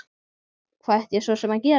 Hvað ætti ég svo sem að gera?